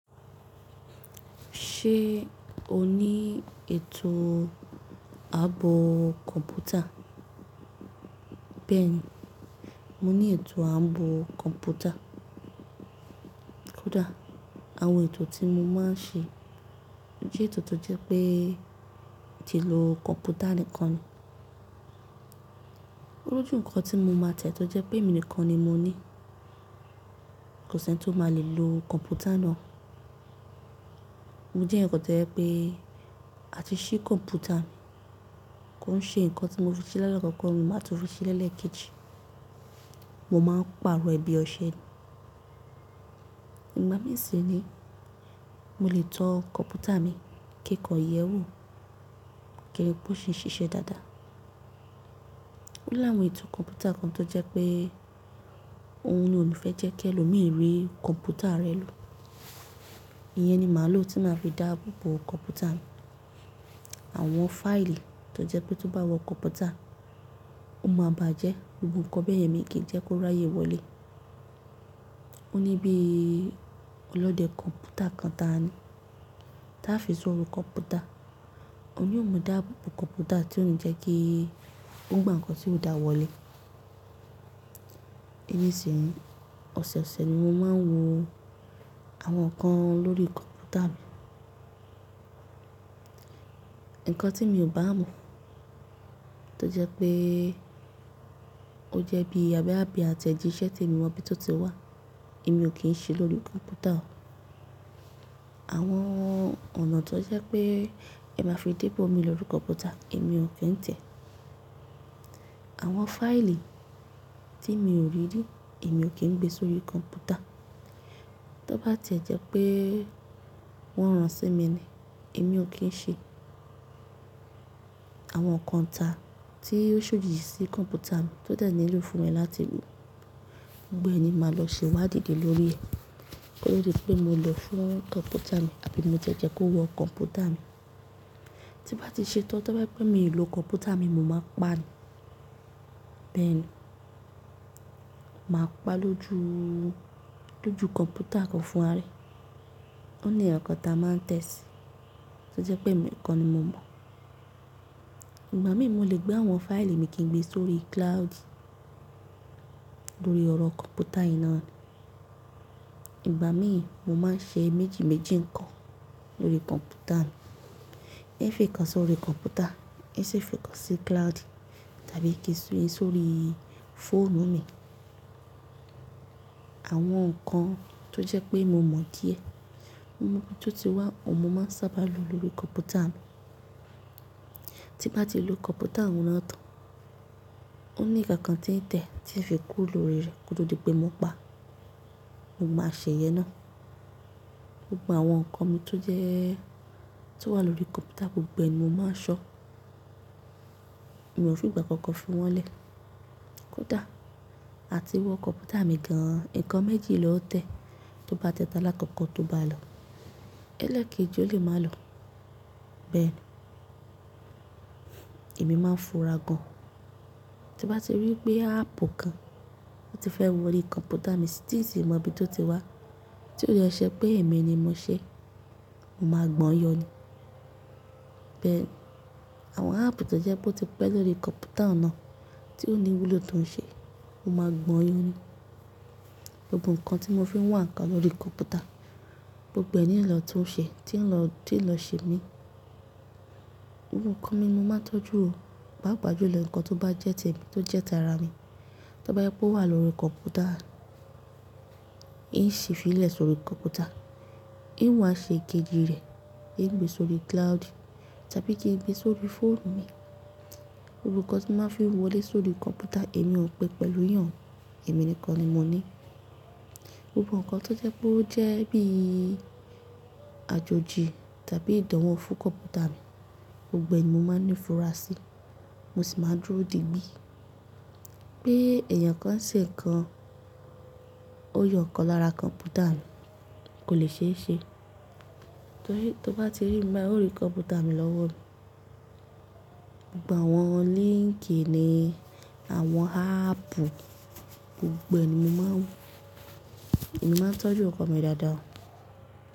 Ṣe o ni ètò ààbò kọ̀mpútà? Bẹ́ẹ̀ni, mo ni ètò ààbò kọ̀mpútà. Kódà àwọn ètò tí mo máa ń ṣe jẹ́ ètò tó jẹ́ pé ti lo kọ̀mpútà nìkan ni. Ó lójú nǹkan tí mo máa tẹ̀ tó jẹ́ pé èmi nìkan ni mo nií. Kò sẹ́ni tó máa le lo kọ̀mpútà náà. Mo jéèyàn kan tó jẹ́ pé àti ṣí kọ̀mpútà, kò ń ṣe nǹkan tí mo fi ṣi lálákọ̀ọ́kọ́ ni màá tún fi ṣi lẹ́lẹ́ẹ̀kejì, mo máa ń pààrọ̀ ẹ̀ bí ọṣẹ ni. Ìgbà míì sì nìí mo lè tan kọ̀mpútà mi kí n kàn yẹ̀ẹ́ wò, kí n ri pó ṣì ń ṣiṣẹ́ dáadáa. Ó láwọn ètò kọ̀mpútà kan tó jẹ́ pé òun ni ò ní fẹ́ jẹ́ kí ẹlòmíì rí kọ̀mpútà ara ẹ̀ lò. Ìyẹn ni màá lò tí màá fi dáàbò bo kọ̀mpútà mi. Àwọn fáìlì tó jẹ́ pé tó bá wọ kọ̀mpútà, ó máa bàá jẹ́, gbogbo nǹkan bẹ́yẹn miì kí ń jẹ́ kó ráyè wọlé. Ó ní bí ọlọ́dẹ kọ̀mpútà kan táa ní. Táá fi sórí kọ̀mpútà, òun ni óó máa dáàbò bo kọ̀mpútà tí ò ní jẹ́ kí ó gbà nǹkan tí ò dáa wọlé. Ìgbà mìíràn sì, ọ̀sọ̀ọ̀sẹ̀ ni mo máa ń wo àwọn nǹkan lórí kọ̀mpútà mi. Nǹkan tí mi ò bá mọ̀ tó jẹ́ pé ó jẹ́ bí bóyá bí àtẹ̀jíṣẹ́ ti mi ò mọ'bí tó ti wá, èmi ò kí ń ṣi lórí kọ̀mpútà o. Àwọn ọ̀nà tó jẹ́ pé ẹ máa fi dé 'bòmíì lórí kọ̀mpútà, èmi ò kí ń tẹ̀ẹ́. Àwọn fáìlì tí mi ò rí rí, èmi ò kí ń gbe sórí kọ̀mpútà. Tó bá tiẹ̀ jẹ́ pé wọ́n ran sí mi ni, èmi ò kí ń ṣi. Àwọn nǹkan ìta tí ó ṣ'òdì sí kọ̀mpútà mi tó dẹ̀ nílò fún mi láti mọ̀, gbogbo ẹ̀ ni màá lọ ṣèwádìí lé lórí ẹ̀. Kó tó di pé mo lòó fún kọ̀mpútà mi àbí mo tiẹ̀ jẹ́ kó wọ kọ̀mpútà mi. Tí n bá ti ṣe tán tó bá jẹ́ pé mi ò lo kọ̀mpútà mi, mo máa paá ni. Bẹ́ẹ̀ni, màá paá lójú kọ̀mpútà gan-an fúnra rẹ̀. Ó ní nǹkan kan táa máa ń tẹ̀ síi, tó jẹ́ pémi nìkan ni mo mọ̀. Ìgbà míì sì mo lè gbé àwọn fáìlì mi kí n gbé sórí cloud lórí ọ̀rọ̀ kọ̀mpútà yìí náà ni. Ìgbà míì sì mo máa ń ṣe méjì méjì nǹkan lórí kọ̀mpútà mi. Ń fìkan sórí kọ̀mpútà, ń sì fìkan sí cloud tàbí kí si sórí fóònù mi. Àwọn nǹkan tó jẹ́ pé mo mọ̀ díẹ̀, mo mọ'bí tó ti wá, òun mo máa ń sábà lò lórí kọ̀mpútà mi. Ti bá ti lo kọ̀mpútà ọ̀hún náà tán, ó ní nǹkan kan tí ń tẹ̀ tí ń fi kúrò lórí rẹ̀ kó tó di pé mo paá, mo máa ṣe ìyẹn náà. Gbogbo àwọn nǹkan mi tó jẹ́, tó wà lórí kọ̀mpútà gbogbo ẹ̀ ni mo máa ń ṣọ́. Mi ò ń fìgbà kankan fi wọ́n 'lẹ̀. Kódà àti wọ kọ̀mpútà mi gan-an, nǹkan méjì loó tẹ̀. Tóo bá tẹ talákọ̀ọ́kọ́ tó bá lọ, ẹlẹ́ẹ̀kejì ó lè má lọ. Bẹ́ẹ̀ni, èmi máa ń fura gan-an. Ti bá ti rí pé áàpù kan, ó ti fẹ́ wọrí kọ̀mpútà mi tí ǹ sì mọbí tó ti wá tí ò dẹ̀ ń ṣe pé èmi ni mo ṣeé, mo máa gbọ̀n-ọ́n yọ ni. Bẹ́ẹ̀ni, àwọn áàpù tó jẹ́ pó ti pẹ́ lórí kọ̀mpútà náà tí ò ní ìwúlò tó ń ṣe, mo máa gbọ̀n-ọ́n yọ ni. Gbogbo nǹkan tí mo fi ń wá nǹkan lórí kọ̀mpútà gbogbo ẹ̀ ni ń lọ tún ṣe tí ń lọ, tí ń lọ ṣè míì. Gbogbo nǹkan mi mo máa ń tọ́jú o. Pàápàá jùlọ nǹkan tó bá jẹ́ tèmi tó jẹ́ tara mi, tó bá jẹ́ pé ó wà lórí kọ̀mpútà, ń ṣì fiílẹ̀ sórí kọ̀mpútà, ń wá ṣe èkejì rẹ̀, ń gbé sórí cloud tàbí kí n gbé sórí fóònù mi. Gbogbo nǹkan tí n màá fi ń wọlé sórí kọ̀mpútà èmi ò pin pẹ̀lú èèyàn o, èmi nìkan ni mo ni í. Gbogbo nǹkan tó jẹ́ pé ó jẹ́ bí àjòjì tàbí ìdánwò fún kọ̀mpútà mi gbogbo ẹ̀ ni mo máa ń nífura sí. Mo sì máa ń dúró digbí pé èèyàn kan ń ṣe nǹkan, ó yọ nǹkan lára kọ̀mpútà mi, kò lè ṣeéṣe. Tóo bá ti rí mi báyìí óó rí kọ̀mpútà mi lọ́wọ́ mi, gbogbo àwọn líńkì ni àwọn áàpù gbogbo ẹ̀ ni mo máa ń wo. Èmi máa ń tọ́jú nǹkan mi dáadáa o.